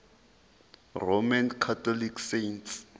roman catholic saints